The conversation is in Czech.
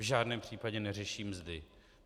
V žádném případě neřeší mzdy.